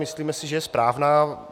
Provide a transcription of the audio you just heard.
Myslíme si, že je správná.